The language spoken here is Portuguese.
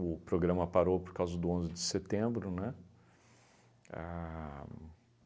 O programa parou por causa do onze de setembro, né? A